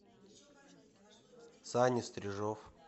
саня стрижов